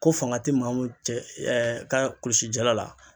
Ko fanga ti maaw cɛ ka kulusi jala la.